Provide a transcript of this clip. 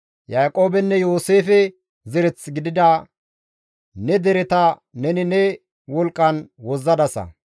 Yaaqoobenne Yooseefe zereth gidida ne dereta neni ne wolqqan wozzadasa.